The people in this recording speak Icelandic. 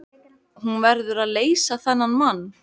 Hún verður að leysa þennan mann.